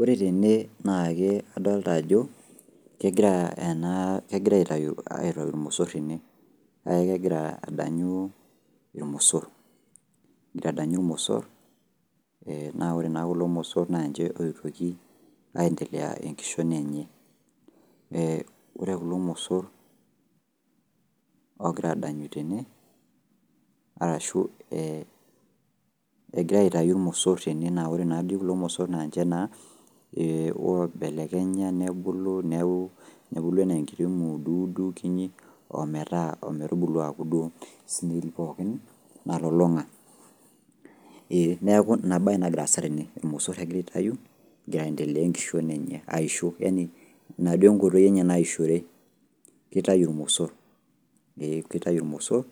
Ore tene, nake adolta ajo, kegirai aitayu irmosor tene. Na kegira adanyu irmosor. Kegira adanyu irmosor, na ore naa kulo mosor, na nche oitoki aendelea enkishon enye. Ore kulo mosor ogira adanyu tene, arashu eh egira aitayu irmosor tene na ore nadi kulo mosor na nche naa, oibelekenya nebulu, neeku nebulu ene nkiti muduudu kinyi, ometaa ometubulu aku duo snail pookin, nalulung'a. Neeku inabae nagira aasa tene. Irmosor egira aitayu, egira aendelea enkishon enye, aisho. Yani ina duo enkoitoi enye naishore. Kitayu irmosor. Ee kitayu irmosor,